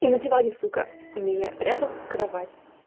и на диване сука имея рядом кровать